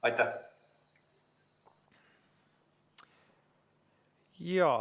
Aitäh!